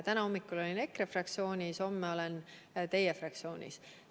Täna hommikul olin EKRE fraktsioonis, homme olen teie fraktsioonis.